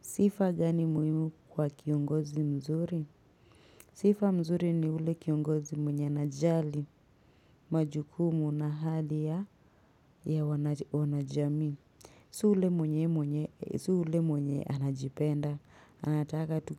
Sifa gani muhimu kwa kiongozi mzuri? Sifa mzuri ni ile ya kiongozi mwenye anajali majukumu na hali ya wanajamii. Si yule mwenye anajipenda, anataka tu